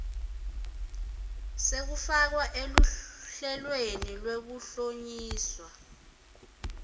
sekufakwa eluhlelweni lwekuhlonyiswa